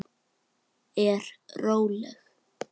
Er róleg.